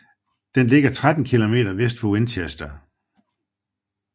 Den ligger 13 km vest for Winchester